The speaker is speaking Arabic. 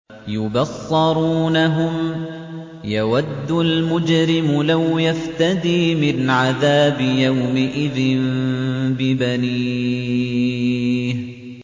يُبَصَّرُونَهُمْ ۚ يَوَدُّ الْمُجْرِمُ لَوْ يَفْتَدِي مِنْ عَذَابِ يَوْمِئِذٍ بِبَنِيهِ